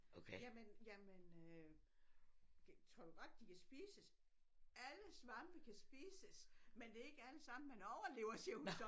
Jamen jamen øh tror du godt de kan spises alle svampe kan spises men det er ikke allesammen man overlever siger hun så